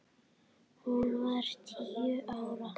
Hún var tíu ára.